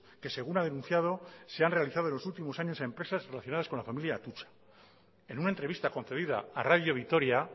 que según ha denunciado se han realizado en los últimos años a empresas relacionadas con la familia de atutxa en una entrevista concebida a radio vitoria